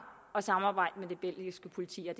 at samarbejde med det belgiske politi og